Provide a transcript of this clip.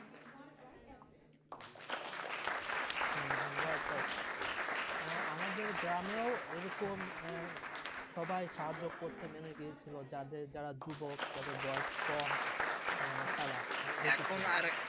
হ্যাঁ হ্যাঁ আমাদের গ্রামেও এরকম সবাই সাহায্য করতে নিভে গিয়েছিল যাদের যারা যুবক যার বয়স কম হ্যাঁ তারা এখন আর এক